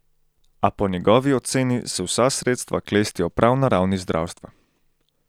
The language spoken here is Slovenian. A po njegovi oceni se vsa sredstva klestijo prav na ravni zdravstva.